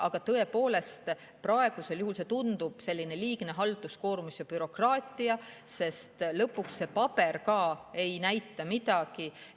Aga tõepoolest, praegu tundub see sellise liigse halduskoormuse ja bürokraatiana, sest lõpuks see paber ei näita ka midagi.